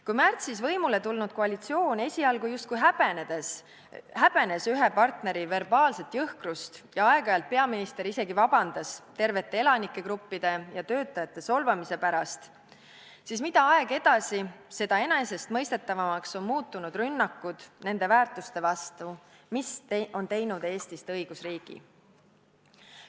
Kui märtsis võimule tulnud koalitsioon esialgu justkui häbenes ühe partneri verbaalset jõhkrust ja aeg-ajalt palus peaminister isegi vabandust tervete elanikegruppide ja töötajate solvamise pärast, siis mida aeg edasi, seda enesestmõistetavamaks on muutunud rünnakud nende väärtuste vastu, mis on teinud Eestist õigusriigi.